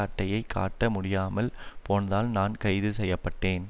அட்டையை காட்ட முடியாமல் போனதால் நான் கைதுசெய்யப்பட்டேன்